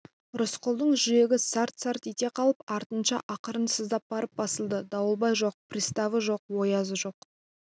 рысқұлдың жүрегі сарт-сарт ете қалып артынша ақырын сыздап барып басылды дауылбай жоқ приставы жоқ оязы жоқ